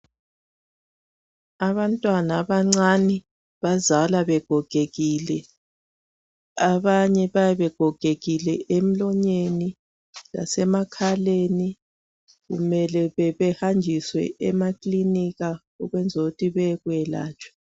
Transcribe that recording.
Abantwana abancane abazalwa begogekile abanye bayabe begogekile emlonyeni lasemakhaleni kumele behanjiswe emakilinika ukwenzela ukuthi beyelatshwe.